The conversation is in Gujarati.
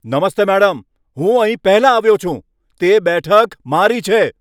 નમસ્તે મેડમ, હું અહીં પહેલા આવ્યો છું. તે બેઠક મારી છે.